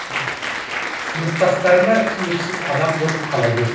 сыныптастарыма түсініксіз адам болып қала бердім